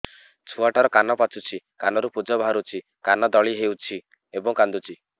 ଛୁଆ ଟା ର କାନ ପାଚୁଛି କାନରୁ ପୂଜ ବାହାରୁଛି କାନ ଦଳି ହେଉଛି ଏବଂ କାନ୍ଦୁଚି